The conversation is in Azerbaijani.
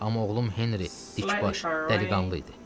Amma oğlum Henri dikbaş, dəliqanlı idi.